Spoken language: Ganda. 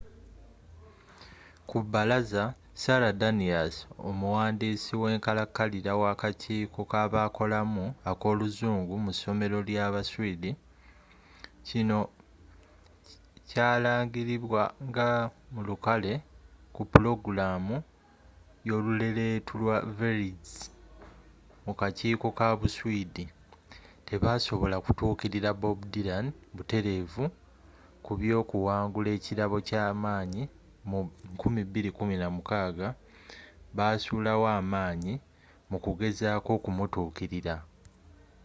ku bbalaza sara danius, omuwandiisi wenkalakalira wakakiiko kabakolamu akoluzungu mu ssomero lyabu swiidi kino kyalangilibwa mu lukale ku pulogulaamu yoluleletu lwa sveriges mu kakiiko ka buswidi tebasobola kutuukirira bob dylan buterevu ku byokuwangula ekirabo ekyamanyi mu 2016 basulawo amaanyi mu kugezako okumutuukirira